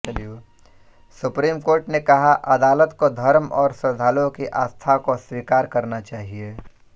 supreme court ने कहा अदालत को धर्म और श्रद्धालुओं की आस्था को स्वीकार करना चाहिए